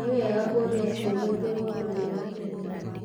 Nĩ wega kũũria ciũria kwĩ mũndũ wĩhokĩtĩ.